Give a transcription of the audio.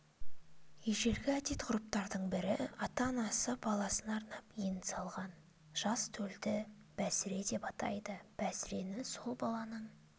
ежелгі әдет-ғұрыптардың бірі ата-анасы баласына арнап ен салған жас төлді бәсіре деп атайды бәсірені сол баланың